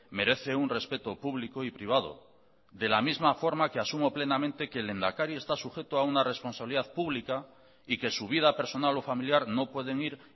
merece un respeto público y privado de la misma forma que asumo plenamente que el lehendakari está sujeto a una responsabilidad pública y que su vida personal o familiar no pueden ir